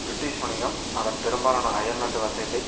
British வணிகம் அதன் பெரும்பாலான அயல்நாட்டு வர்த்தகத்தை